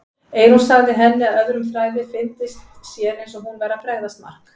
Eyrún sagði henni að öðrum þræði fyndist sér eins og hún væri að bregðast Mark.